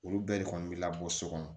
Olu bɛɛ de kɔni bɛ labɔ so kɔnɔ